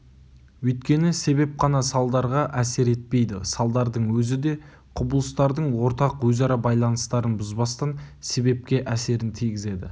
өйткені себеп қана салдарға әсер етпейді салдардың өзі де құбылыстардың ортақ өзара байланыстарын бұзбастан себепке әсерін тигізеді